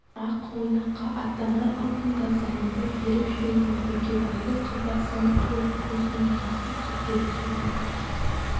ақ-мойнаққа аттанар алдында зәрипа беріп жіберген бөкебайды қалтасынан алып көзінің жасып сүртеді сорлы